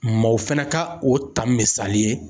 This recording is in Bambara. Maw fana ka o ta misali ye.